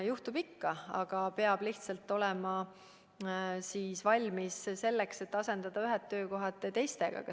Juhtub ikka, aga peab lihtsalt olema valmis selleks, et asendada ühed töökohad teistega.